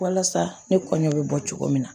Walasa ne kɔɲɔ bɛ bɔ cogo min na